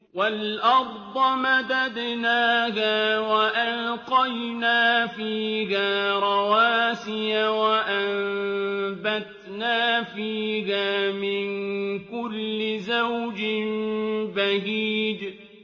وَالْأَرْضَ مَدَدْنَاهَا وَأَلْقَيْنَا فِيهَا رَوَاسِيَ وَأَنبَتْنَا فِيهَا مِن كُلِّ زَوْجٍ بَهِيجٍ